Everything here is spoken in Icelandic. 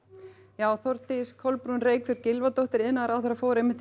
já Þórdís Kolbrún Reykfjörð Gylfadóttir iðnaðarráðherra fór einmitt